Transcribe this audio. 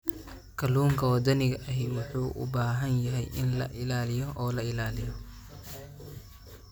Kalluunka waddaniga ahi wuxuu u baahan yahay in la ilaaliyo oo la ilaaliyo.